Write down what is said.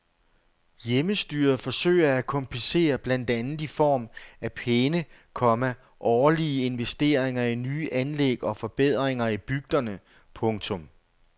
Hjemmestyret forsøger at kompensere blandt andet i form af pæne, komma årlige investeringer i nye anlæg og forbedringer i bygderne. punktum